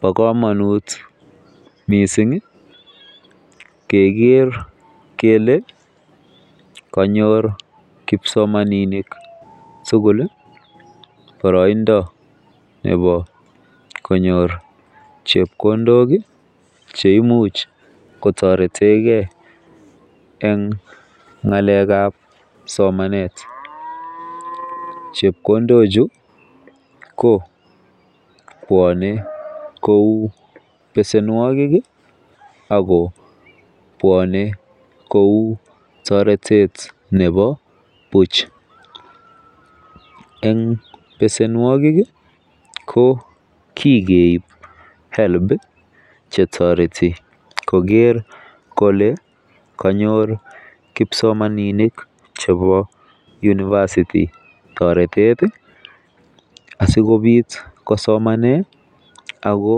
Bo komonut missingi Keker kele konyor kipsomaninik tukul lii boroindo konyor chepkondok kii cheimuch kotoretengee en ngalekab somanet, chepkondok chu ko bwone kou besenuokik kii Ako bwone kou toretet nebo buch, en besenuokik kii ko kokeib helb chetoreti koker kole konyor kipsomaninik chebo university toreteti sikopit kosomanen Ako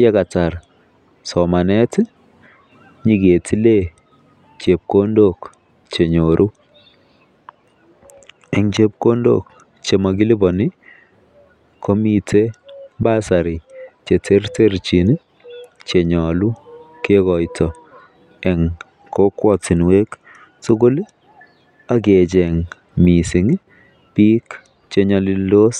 yekatar somanet tii nyoketilen chepkondok chenyoru. En chepkondok chemokiliponi komiten basary cheterterchin nii chenyolu kekoito en kokwotunwek tukuk lii ak kecheng missingi bik chenyolildos.